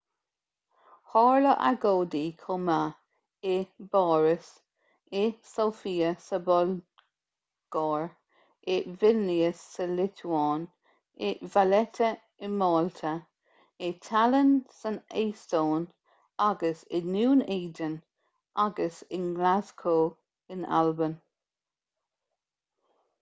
tharla agóidí chomh maith i bpáras i sóifia sa bhulgáir i vilnius sa liotuáin i valetta i málta i tallinn san eastóin agus i ndún éideann agus i nglaschú in albain